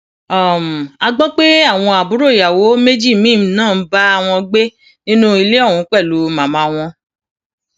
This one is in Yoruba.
um a gbọ pé àwọn àbúrò ìyàwó méjì míín náà ń bá wọn gbé nínú ilé ọhún pẹlú màmá um wọn